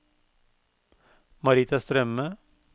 Marita Strømme